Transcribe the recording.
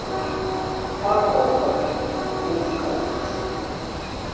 kwagompo kumzi kazenzile